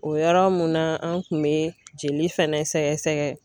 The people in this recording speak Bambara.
O yɔrɔ mun na an kun bɛ jeli fɛnɛ sɛgɛsɛgɛ.